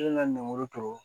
Ne ka lemuru turu